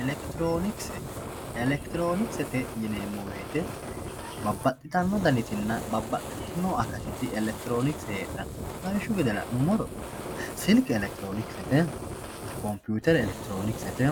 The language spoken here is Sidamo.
elektiroonikise elektiroonikisete yineemo woyiite babbadhitanno danitinna babbadhitinno akatiti elektiroonikise heedhanno lawishshu gede la'numoro silke elektiroonikisete koputere elektiroonikisete